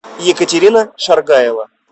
екатерина шаргаева